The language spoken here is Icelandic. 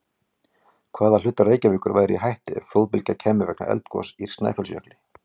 Hvaða hlutar Reykjavíkur væru í hættu ef flóðbylgja kæmi vegna eldgoss í Snæfellsjökli?